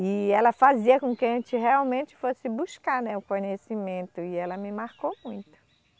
E ela fazia com que a gente realmente fosse buscar, né, o conhecimento, e ela me marcou muito.